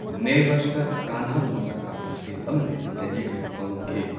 ꯅꯦꯚꯁꯗ ꯀꯟꯍꯕꯨ ꯃꯁꯛ ꯇꯥꯛꯄ ꯁꯤꯜ ꯑꯃꯗꯤ ꯁꯦꯟꯌꯦꯛꯁꯤꯡ ꯐꯪꯂꯝꯈꯤ꯫